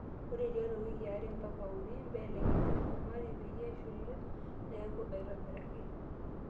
Ore tiatwa wikii are mpaka unii mbelekenyu olchumati peyie eshula nekuu aitobiraki.